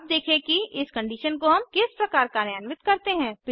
अब देखें कि इस कंडीशन को हम किस प्रकार कार्यान्वित करते हैं160